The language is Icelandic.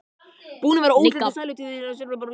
Búin að vera óslitin sælutíð síðan á jólunum.